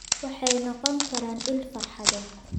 Waxay noqon karaan il farxadeed.